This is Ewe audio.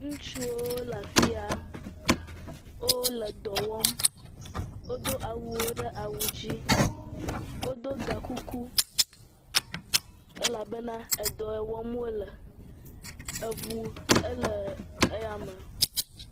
Ŋutsuwo le afi ya wole dɔ wɔm wodo awuwo ɖe awu dzi wodo ga kuku elabena edɔ yi wɔm wole eŋu le eya me.